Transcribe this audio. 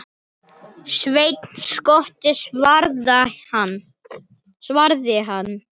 Sveinn skotti, svaraði hann.